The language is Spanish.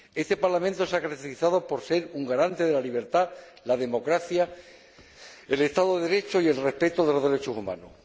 Este Parlamento se ha caracterizado por ser un garante de la libertad, la democracia, el Estado de Derecho y el respeto de los derechos humanos.